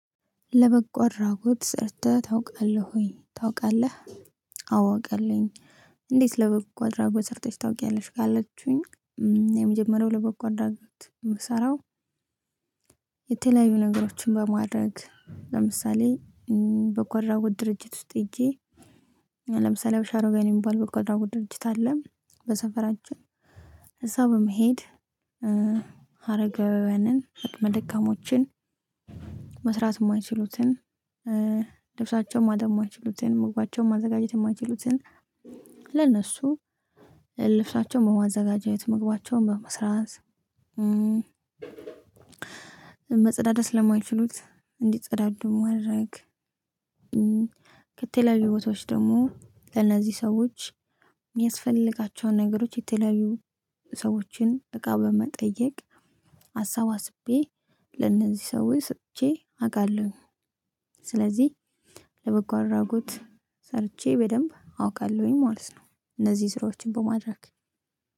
ለበጎ አድራጎት ሰርተህ ታውቃለህ ወይ? ታውቃለህ አዎ አውቃለሁኝ። እንዴት ለበጎ አድራጎት ሰርተሽ ታውቂያለሽ ካለቹኝ። የመጀመሪያው ለበጎ አድራጎት የምሰራው። የተለያዩ ነገሮችን በማድረግ ለምሳሌ በጎ አድራጎት ድርጅት ውስጥ ሄጄ። ለምሳሌ በሻሮጋን የሚባል በጎ አድራጎት ድርጅት አለ በሰፈራችን። እዛ በመሄድ። አረጋዊያንን አቅመ ደካሞችን። መስራት የማይችሉትን ልብሳቸውን ማጠብ የማይችሉትን ምግባቸውን ማዘጋጀት የማይችሉትን። ለእነሱ ልብሳቸውን በማዘጋጀት መግባቸውን በመስራት። መጸዳዳት ለማይችሉት እንዲጸዳዱ ማድረግ። ከተለያዩ ቦታዎች ደግሞ ለእነዚህ ሰዎች። የሚያስፈልጋቸውን ነገሮች የተለያዩ ሰዎችን እቃ በመጠየቅ አሰባስቤ ለእነዚህ ሰዎች ሰጥቼ አውቃለሁ። ስለዚህ ለበጎ አድራጎት ሰርቼ በደንብ አውቃለሁኝ ማለት ነው። እነዚህ ስራዎችን በማድረግ